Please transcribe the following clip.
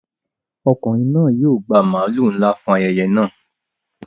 Ọkùnrin náà máa gba màlúù ńlá tó sanra fún ayẹyẹ náà.